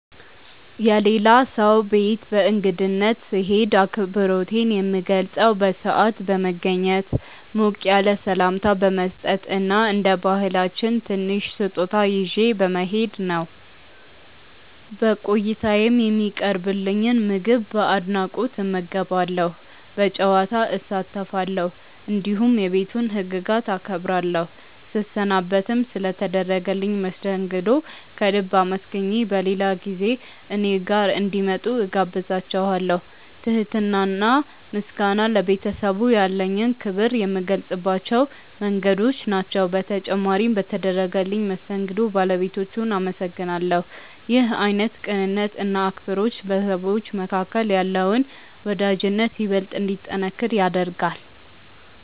የሌላ ሰው ቤት በእንግድነት ስሄድ አክብሮቴን የምገልጸው በሰዓት በመገኘት፣ ሞቅ ያለ ሰላምታ በመስጠት እና እንደ ባህላችን ትንሽ ስጦታ ይዤ በመሄድ ነው። በቆይታዬም የሚቀርብልኝን ምግብ በአድናቆት እመገባለሁ፣ በጨዋታ እሳተፋለሁ፣ እንዲሁም የቤቱን ህግጋት አከብራለሁ። ስሰናበትም ስለ ተደረገልኝ መስተንግዶ ከልብ አመስግኜ በሌላ ጊዜ እኔ ጋር እንዲመጡ እጋብዛቸዋለው። ትህትና እና ምስጋና ለቤተሰቡ ያለኝን ክብር የምገልጽባቸው መንገዶች ናቸው። በተጨማሪም በተደረገልኝ መስተንግዶ ባለቤቶቹን አመሰግናለሁ። ይህ አይነቱ ቅንነት እና አክብሮት በሰዎች መካከል ያለውን ወዳጅነት ይበልጥ እንዲጠነክር ያደርጋል።